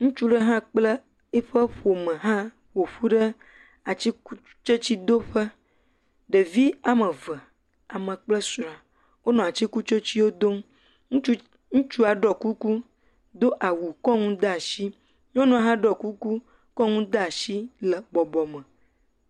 Ŋutsu ɖe hã kple eƒe ƒome hã ƒo ƒu ɖe atsikutsetse ɖe do ƒe. Ɖevi amee eve, ame kple srɔ̃a, wonɔ atsikutsetsewo dom. Ŋutsu ts, ŋutsua ɖɔɔ kuku, do awu, kɔ nu de ashi. Nyɔnua hã ɖɔɔ kuku, kɔ nu de ashi le bɔbɔ me.